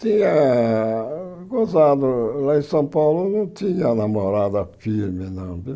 Tinha... Gozado, lá em São Paulo, não tinha namorada firme, não.